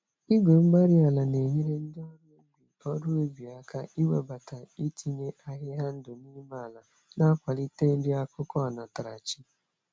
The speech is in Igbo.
Igwe-mgbárí-ala na-enyere ndị ọrụ ubi ọrụ ubi aka iwebata itinye ahịhịa ndụ n'ime ala, na-akwalite nri-akụkụ onatarachi.